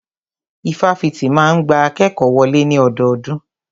Ifáfitì máa ń gba akékòó wọlé ní ọdọọdún.